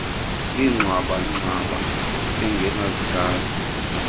yengxwaba ngxwaba engenazigalo